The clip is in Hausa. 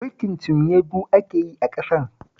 Mulkin cinye-du ake yi a ƙasar